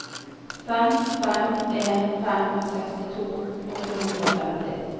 fem fem en fem sekstito åtte hundre og femti